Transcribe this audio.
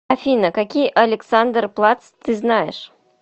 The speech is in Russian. афина какие александерплац ты знаешь